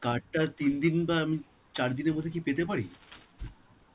card টা তিন দিন বা উম চার দিনের মধ্যে কি পেতে পারি?